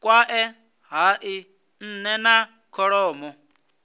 kwae hai nne na kholomo